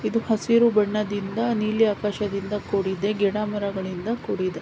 ಇದು ಹಸಿರು ಬಣ್ಣದಿಂದ ನೀಲಿ ಆಕಾಶದಿಂದ ಕೂಡಿದೆ ಗಿಡಮರಗಳಿಂದ ಕೂಡಿದೆ.